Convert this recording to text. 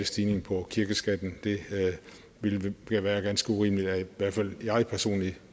stigning på kirkeskatten det ville være ganske urimeligt at i hvert fald jeg personligt